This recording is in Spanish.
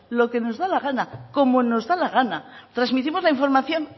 lo que nos da la gana como nos da la gana transmitimos la información